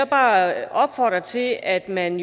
bare opfordre til at man